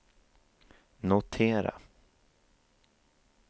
notera